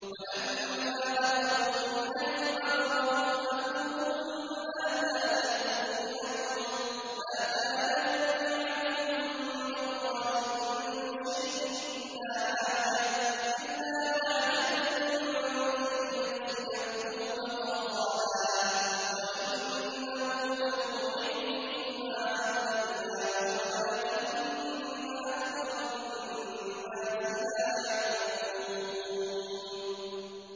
وَلَمَّا دَخَلُوا مِنْ حَيْثُ أَمَرَهُمْ أَبُوهُم مَّا كَانَ يُغْنِي عَنْهُم مِّنَ اللَّهِ مِن شَيْءٍ إِلَّا حَاجَةً فِي نَفْسِ يَعْقُوبَ قَضَاهَا ۚ وَإِنَّهُ لَذُو عِلْمٍ لِّمَا عَلَّمْنَاهُ وَلَٰكِنَّ أَكْثَرَ النَّاسِ لَا يَعْلَمُونَ